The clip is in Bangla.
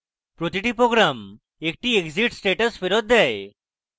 প্রতিটি program একটি exit status ফেরৎ দেয়